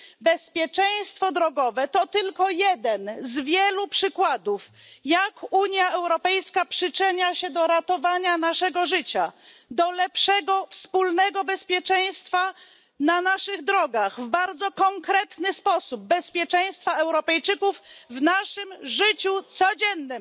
Bezpieczeństwo drogowe to tylko jeden z wielu przykładów, jak Unia Europejska przyczynia się do ratowania naszego życia, do lepszego wspólnego bezpieczeństwa na naszych drogach w bardzo konkretny sposób, bezpieczeństwa Europejczyków w naszym życiu codziennym.